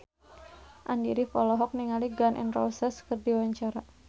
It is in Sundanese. Andy rif olohok ningali Gun N Roses keur diwawancara